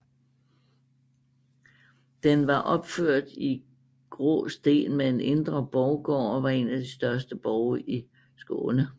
Den var opført i gråsten med en indre borggård og var en af de største borge i Skåne